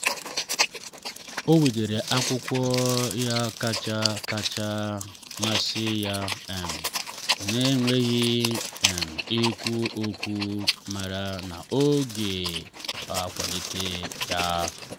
ọ wetara akwụkwọ ya kacha kacha masị ya um n’enweghị um ikwu okwu mara na o ga-akwalite ya.